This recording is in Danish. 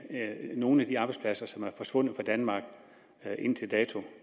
at nogen af de arbejdspladser som er forsvundet fra danmark indtil dato